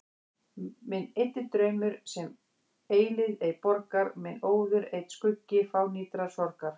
Minn eyddi draumur, sem eilífð ei borgar, minn óður einn skuggi fánýtrar sorgar.